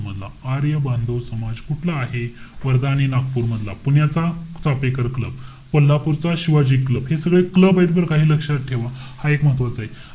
मधला. आर्य बांधव समाज कुठला आहे? वर्धा आणि नागपूर मधला. पुण्याचा, चाफेकर क्लब. कोल्हापूरचा, शिवाजी क्लब. हे सगळे club आहेत बरं का, हे लक्षात ठेवा. हा एक महत्वाचाय.